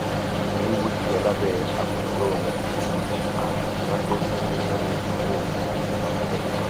wiwu ti yọ labẹ akuniloorun agbegbe & firanṣẹ fun idanwo idanwo histopathological